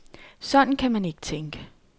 Sådan kan man ikke tænke.